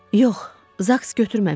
Yox, zaks götürməmişdi.